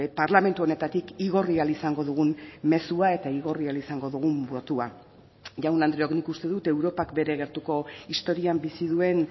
parlamentu honetatik igorri ahal izango dugun mezua eta igorri ahal izango dugun botoa jaun andreok nik uste dut europak bere gertuko historian bizi duen